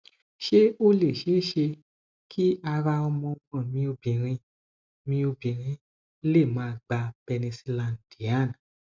se o le sese ki ara omo omo mi obinrin mi obinrin le ma gba penicillan diane